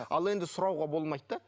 ал енді сұрауға болмайды да